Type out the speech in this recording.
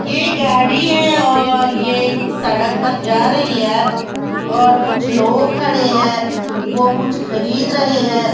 ये गाड़ी है और ये एक सड़क पर जा रही है और कुछ लोग खड़े हैं वो कुछ खरीद रहे हैं।